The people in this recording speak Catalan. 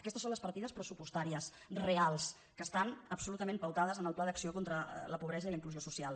aquestes són les partides pressupostàries reals que estan absolutament pautades en el pla d’ac·ció contra la pobresa i la inclusió social